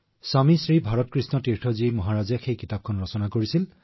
স্বামী শ্ৰী ভাৰতীকৃষ্ণ তীৰ্থ জী মহাৰাজে সেই কিতাপখন লিখিছিল